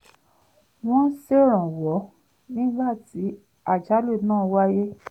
wọ́n ṣèrànwọ́ nígbà tí àjálù náà wáyé